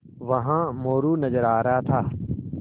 वहाँ मोरू नज़र आ रहा था